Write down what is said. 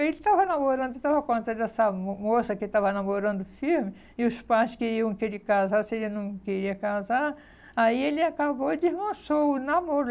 Ele estava namorando, estava com essa mo moça que estava namorando firme, e os pais queriam que ele casasse, ele não queria casar, aí ele acabou e desmanchou o namoro.